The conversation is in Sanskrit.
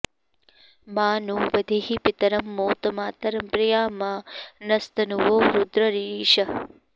मा नो॑ वधीः पि॒तरं॒ मोत मा॒तरं॑ प्रि॒या मा न॑स्त॒नुवो॑ रुद्र रीरिषः